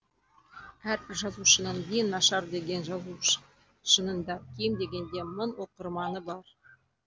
әрбір жазушының ең нашар деген жазушы да кем дегенде мың оқырманы бар